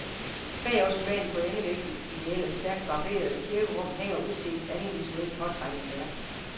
Bag ottomanen på endevæggen i det ellers stærkt barberede kirkerum hænger udstillingens andet visuelt påtrængende værk.